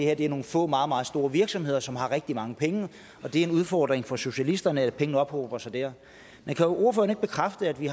er nogle få og meget meget store virksomheder som har rigtig mange penge og det er en udfordring for socialisterne at penge ophober sig der men kan ordføreren ikke bekræfte at vi